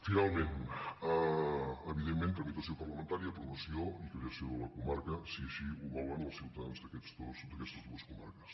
finalment evidentment tramitació parlamentària aprovació i creació de la comarca si així ho volen els ciutadans d’aquestes dues comarques